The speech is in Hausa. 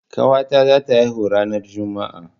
Ƙawa ta za ta haihu ranar Juma'a